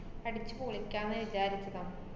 അടിച്ചു പൊളിക്കാന്ന് വിചാരിച്ചതാ.